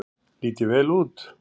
Lít ég vel út?